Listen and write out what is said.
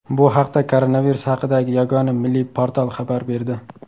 Bu haqda koronavirus haqidagi Yagona milliy portal xabar berdi .